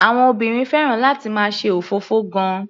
Àwọn obìnrin fẹ́ràn láti máa ṣe òfófó gan-an.